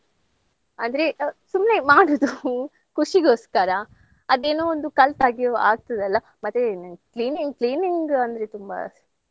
ಅಂದ್ರೆ ಆ ಸುಮ್ನೆ ಮಾಡೋದು ಖುಷಿಗೋಸ್ಕರ ಅದೇನೋ ಒಂದು ಕಲ್ತ ಹಾಗೆಯೂ ಆಗ್ತದಲ್ಲಾ ಮತ್ತೆ cleaning cleaning ಅಂದ್ರೆ ತುಂಬಾ